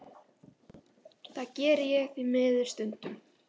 Það geri ég því miður stundum.